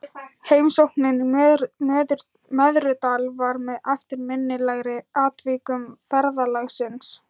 Heimsóknin í Möðrudal var með eftirminnilegri atvikum ferðalagsins.